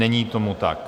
Není tomu tak.